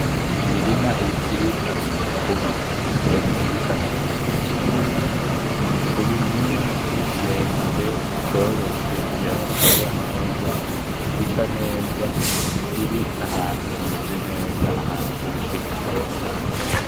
Imirima irimwo imikubi iyo mikubi isa neza vyukuri, n’imikumbi myinshi miremire yoroste yarose imvura isa neza iri nahantu hameze neza ahantu imvura ishika.